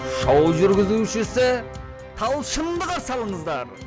шоу жүргізушісі талшынды қарсы алыңыздар